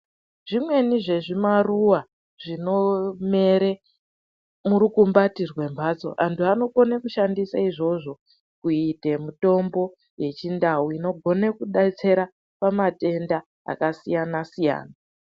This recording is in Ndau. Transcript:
Zvimweni zvezvimaruwa zvinomera murukumbati rwemhanzo antu anokona kushandisa izvozvo kuita mitombo yechindau inogona kudetsera pamatenda akasiyana siyana.